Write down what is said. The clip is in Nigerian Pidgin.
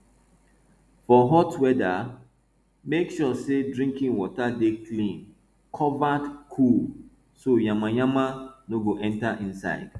for hot weather make sure sey drinking water dey clean covered cool so yamayama no go enter inside